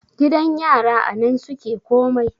gidan yara a nan suke komai